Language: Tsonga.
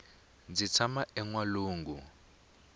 ndzi tshama enwalungu